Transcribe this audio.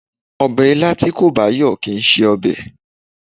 Ọbẹ̀ ilá tí kò bá yọ̀ kìí ṣe ọbẹ̀